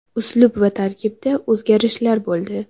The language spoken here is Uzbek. Uslub va tarkibda o‘zgarishlar bo‘ldi.